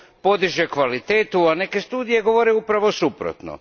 podiže kvalitetu, a neke studije govore upravo suprotno.